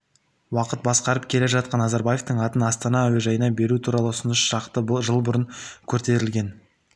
уақыт басқарып келе жатқан назарбаевтың атын астана әуежайына беру туралы ұсыныс шақты жыл бұрын көтерілген